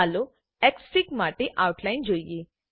ચાલો એક્સફિગ માટે આઉટલાઈન જોઈએ